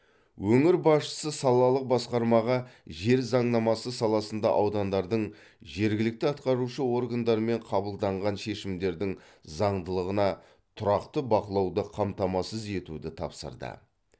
өңір басшысы салалық басқармаға жер заңнамасы саласында аудандардың жергілікті атқарушы органдарымен қабылданған шешімдердің заңдылығына тұрақты бақылауды қамтамасыз етуді тапсырды